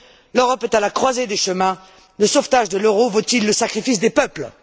L'Europe est à la croisée des chemins. Le sauvetage de l'euro vaut il le sacrifice des peuples?